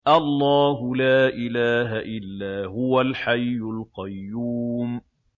اللَّهُ لَا إِلَٰهَ إِلَّا هُوَ الْحَيُّ الْقَيُّومُ